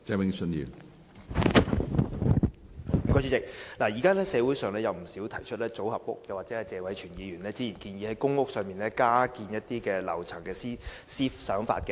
現時社會上有不少人提出興建組合屋，又或謝偉銓議員早前曾建議在公屋加建樓層。